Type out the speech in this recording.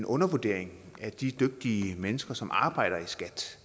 undervurdering af de dygtige mennesker som arbejder i skat